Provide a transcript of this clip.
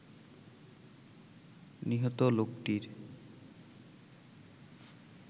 নিহত লোকটির